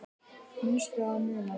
Manstu að muna?